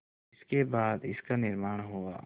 जिसके बाद इसका निर्माण हुआ